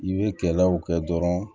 I bɛ kɛlɛw kɛ dɔrɔn